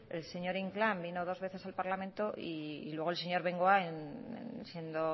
el señor inclán vino dos veces al parlamento y luego el señor bengoa siendo